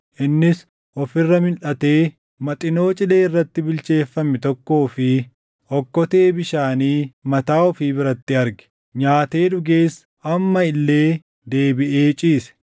Innis of irra milʼatee Maxinoo cilee irratti bilcheeffame tokkoo fi okkotee bishaanii mataa ofii biratti arge. Nyaatee dhugees amma illee deebiʼee ciise.